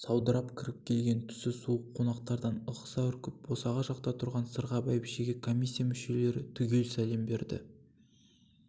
саудырап кіріп келген түсі суық конақтардан ығыса үркіп босаға жақта тұрған сырға бәйбішеге комиссия мүшелері түгел сәлем берді